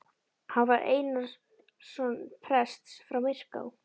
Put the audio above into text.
Hann var Einarsson prests frá Myrká.